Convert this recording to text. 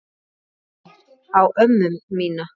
Minnir á ömmu mína.